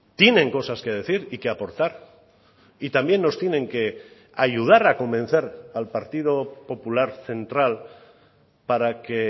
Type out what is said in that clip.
tienen cosas que decir y que aportar y también nos tienen que ayudar a convencer al partido popular central para que